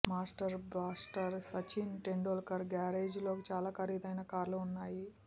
master blaster Sachin Tendulkar garage లో చాలా ఖరీదైన కార్లు ఉన్నాయి